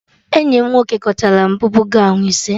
Enyi m nwoke gotere m bubu gọwn ise